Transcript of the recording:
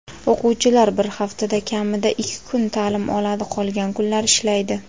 O‘quvchilar bir haftada kamida ikki kun ta’lim oladi qolgan kunlar ishlaydi.